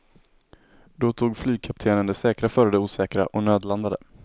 Då tog flygkaptenen det säkra före det osäkra och nödlandade.